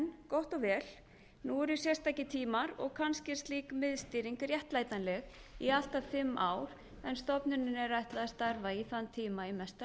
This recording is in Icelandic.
gott og vel nú eru sérstakir tímar og kannski er slík miðstýring réttlætanleg í allt að fimm ár en stofnuninni er ætlað að starfa í þann tíma í mesta